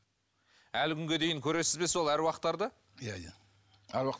әлі күнге дейін көресіз бе сол аруақтарды иә иә аруақ